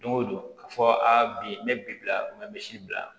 Don o don a fɔ a bi n bɛ bi bila n bɛ misi bila